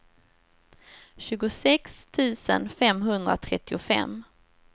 tjugosex tusen femhundratrettiofem